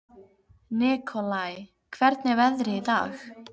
Nikolai, hvernig er veðrið í dag?